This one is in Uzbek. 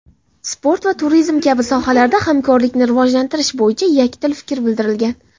sport va turizm kabi sohalarda hamkorlikni rivojlantirish bo‘yicha yakdil fikr bildirilgan.